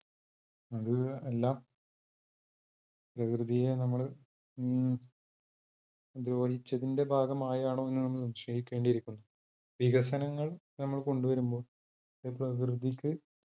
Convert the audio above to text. അത് എല്ലാം പ്രകൃതിയെ നമ്മൾ അഹ് ദ്രോഹിച്ചതിന്റെ ഭാഗമായാണോ എന്ന സംശയിക്കേണ്ടി ഇരിക്കുന്നു. വികസനങ്ങൾ നമ്മൾ കൊണ്ടുവരുമ്പോൾ പ്രകൃതിക്ക്